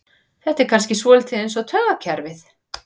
Þetta er kannski svolítið eins með taugakerfið.